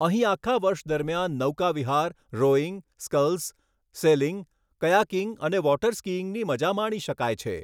અહીં આખા વર્ષ દરમિયાન નૌકાવિહાર, રોઈંગ, સ્કલ્સ, સેલિંગ, કયાકિંગ અને વોટર સ્કીઈંગની મજા માણી શકાય છે.